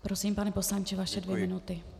Prosím, pane poslanče, vaše dvě minuty.